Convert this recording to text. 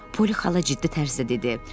Poli xala ciddi tərzdə dedi: